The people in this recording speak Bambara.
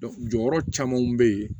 jɔyɔrɔ camanw be yen